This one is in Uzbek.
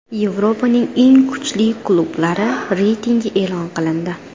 Yevropaning eng kuchli klublari reytingi e’lon qilindi.